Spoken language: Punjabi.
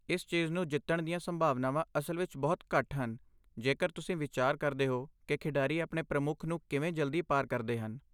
ਇਸ ਚੀਜ਼ ਨੂੰ ਜਿੱਤਣ ਦੀਆਂ ਸੰਭਾਵਨਾਵਾਂ ਅਸਲ ਵਿੱਚ ਬਹੁਤ ਘੱਟ ਹਨ ਜੇਕਰ ਤੁਸੀਂ ਵਿਚਾਰ ਕਰਦੇ ਹੋ ਕਿ ਖਿਡਾਰੀ ਆਪਣੇ ਪ੍ਰਮੁੱਖ ਨੂੰ ਕਿਵੇਂ ਜਲਦੀ ਪਾਰ ਕਰਦੇ ਹਨ।